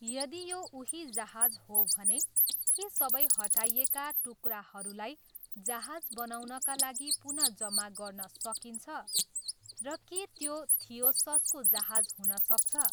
यदि यो उही जहाज हो भने, के सबै हटाइएका टुक्राहरूलाई जहाज बनाउनका लागि पुनः जम्मा गर्न सकिन्छ, र के त्यो थियोससको जहाज हुन सक्छ?